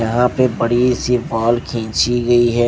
यहां पे बड़ी सी वॉल खींची गई है।